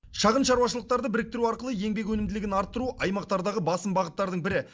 шағын шаруашылықтарды біріктіру арқылы еңбек өнімділігін арттыру аймақтардағы басым бағыттардың і